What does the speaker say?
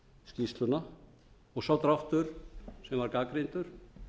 skýrsluna sá dráttur sem var gagnrýndur